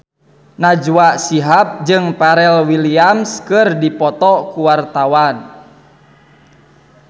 Najwa Shihab jeung Pharrell Williams keur dipoto ku wartawan